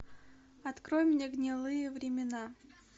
открой мне гнилые времена